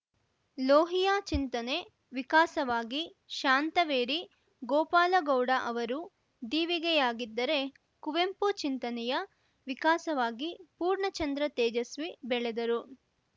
ಲೋಹಿಯಾ ಚಿಂತನೆ ವಿಕಾಸವಾಗಿ ಶಾಂತವೇರಿ ಗೋಪಾಲಗೌಡ ಅವರು ದೀವಿಗೆಯಾಗಿದ್ದರೆ ಕುವೆಂಪು ಚಿಂತನೆಯ ವಿಕಾಸವಾಗಿ ಪೂರ್ಣಚಂದ್ರ ತೇಜಸ್ವಿ ಬೆಳೆದರು